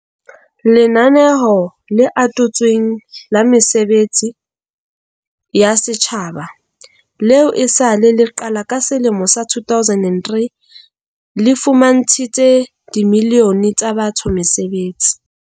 Lenaneo le Atotsweng la Mesebetsi ya Setjhaba, leo e sa le le qala ka selemo sa 2003, le fumantshitse dimilione tsa batho mesebetsi.